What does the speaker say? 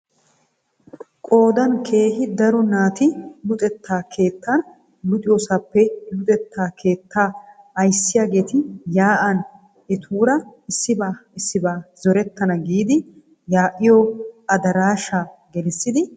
Qoodan keehi daro naati luxetta keettan luxxiyoosappe luxetta keettaa aysiyaageti yaa"an etuura issibaa issibaa zorettana giidi yaa'iyoo adaraashshaa gelissidi etaara hasayoosona.